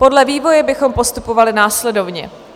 Podle vývoje bychom postupovali následovně: